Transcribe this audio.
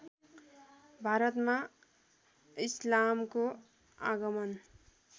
भारतमा इस्लामको आगमन